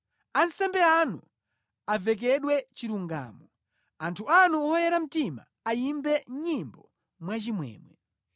Ansembe anu avekedwe chilungamo; anthu anu oyera mtima ayimbe nyimbo mwachimwemwe.’ ”